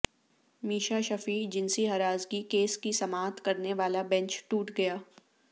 میشا شفیع جنسی ہراسگی کیس کی سماعت کرنے والا بینچ ٹوٹ گیا